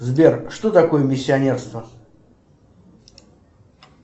сбер что такое миссионерство